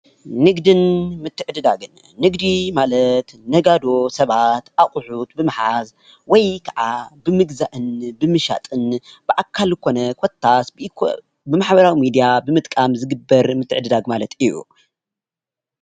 ንግዲን ምትዕድዳን ንግዲ ማለት ነጋዶ ሰባት ኣቅሑት ብምሓዝ ወይ ከዓ ብምግዛእን ብምሻጥን ብአካል ኮነ ኮታስ ብኢ ብማሕበራዊ ሚድያ ብምጥቃም ዝግበር ምትዕድዳግን ማለት እዩ፡፡